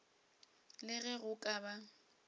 le ge go ka ba